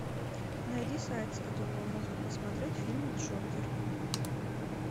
найди сайт с которого можно посмотреть фильм джокер